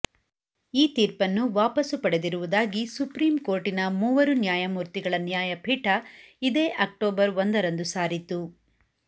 ಈ ತೀರ್ಪನ್ನು ವಾಪಸು ಪಡೆದಿರುವುದಾಗಿ ಸುಪ್ರೀಂ ಕೋರ್ಟಿನ ಮೂವರು ನ್ಯಾಯಮೂರ್ತಿಗಳ ನ್ಯಾಯಪೀಠ ಇದೇ ಅಕ್ಟೋಬರ್ ಒಂದರಂದು ಸಾರಿತು